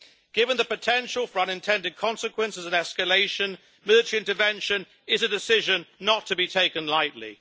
Given the potential for unintended consequences and escalation, military intervention is a decision not to be taken lightly.